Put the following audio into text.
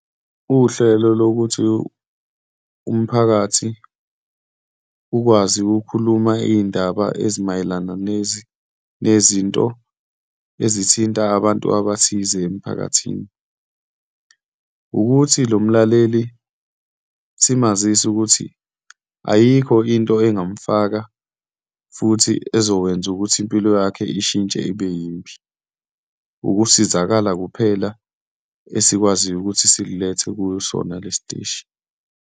Uhlelo lokuthi umphakathi ukwazi ukukhuluma iy'ndaba ezimayelana nezinto ezithinta abantu abathize emiphakathini, wukuthi lo mlaleli simazise ukuthi ayikho into ongamfaka, futhi ezokwenza ukuthi impilo yakhe ishintshe ibe yimbi, ukusizakala kuphela esikwaziyo ukuthi sikulethe kusona lesi teshi.